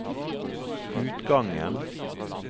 utgangen